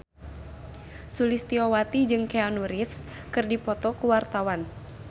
Sulistyowati jeung Keanu Reeves keur dipoto ku wartawan